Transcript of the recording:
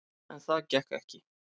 En það gekk ekki.